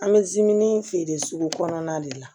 An bɛ zimini feere sugu kɔnɔna de la